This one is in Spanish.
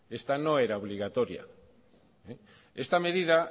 esta no era obligatoria esta medida